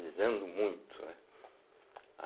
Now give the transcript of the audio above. Eles andam muito, né?